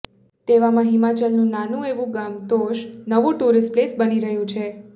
તેવામાં હિમાચલનું નાનું એવું ગામ તોષ નવું ટુરિસ્ટ પ્લેસ બની રહ્યું છે